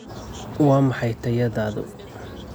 Waa maxay tayadaadu?